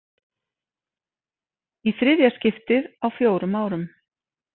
Í þriðja skiptið á fjórum árum.